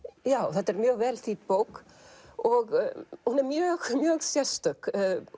þetta er mjög vel þýdd bók og hún er mjög sérstök